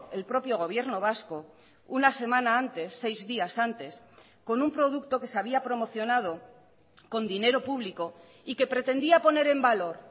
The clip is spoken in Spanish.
el propio gobierno vasco una semana antes seis días antes con un producto que se había promocionado con dinero público y que pretendía poner en valor